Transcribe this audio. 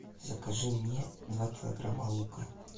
закажи мне два килограмма лука